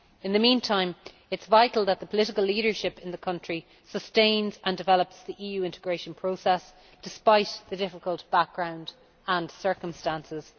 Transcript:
In the meantime, it is vital that the political leadership in the country sustains and develops the EU integration process, despite the difficult background and circumstances.